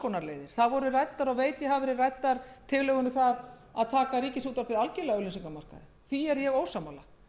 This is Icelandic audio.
konar leiðir það voru ræddar tillögur um að taka ríkisútvarpið algjörlega af auglýsingamarkaði því er ég ósammála